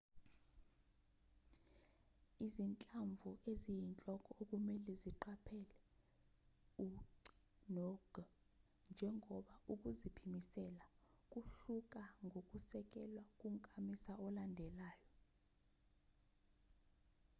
izinhlamvu eziyinhloko okumelwe uziqaphele u-c no-g njengoba ukuziphimisela kuhluka ngokusekelwe kunkamisa olandelayo